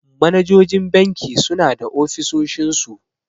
Manajojin banki suna da ofisoshin su.